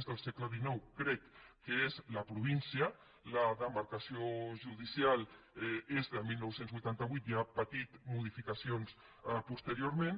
xxicrec que és la província la demarcació judicial és de dinou vuitanta vuit i ha patit modificacions posteriorment